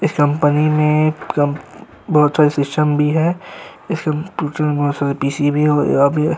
इस कंपनी में कम बहोत सारे सिस्टम भी हैं। इस कंप्यूटर में बहोत सारे भी है और अब ये --